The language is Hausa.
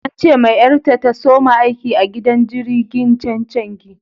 An ce ma yar ta, ta soma aiki a gidan jirigin chenchengi.